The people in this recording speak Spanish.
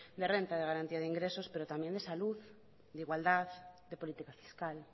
de renta de garantía de ingresos pero también de salud de igualdad de política fiscal